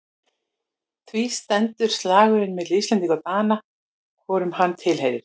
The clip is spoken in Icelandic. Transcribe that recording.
Því stendur slagurinn milli Íslendinga og Dana hvorum hann tilheyrir.